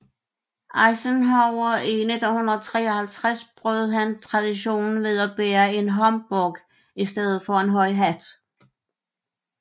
Eisenhower i 1953 brød han traditionen ved at bære en homburg i stedet for en høj hat